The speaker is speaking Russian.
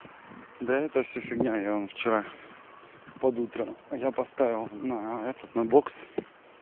да это всё фигня я вон вчера под утро я поставил на этот на бокс